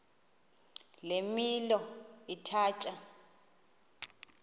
le milo ithatya